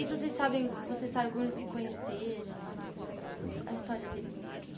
E se vocês sabem você sabe como eles se conheceram, a história deles um pouquinho.